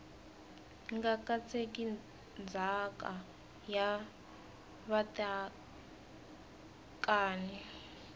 nga katseki ndzhaka ya vatekani